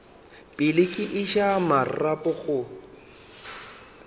pele ke iša marapo go